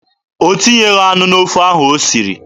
O tinyeghị anụ n'ofe ahụ o siri.